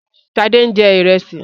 Sade ń jẹ ìrẹsì